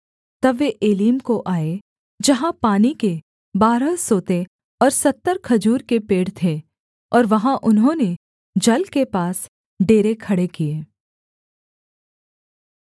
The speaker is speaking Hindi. तब वे एलीम को आए जहाँ पानी के बारह सोते और सत्तर खजूर के पेड़ थे और वहाँ उन्होंने जल के पास डेरे खड़े किए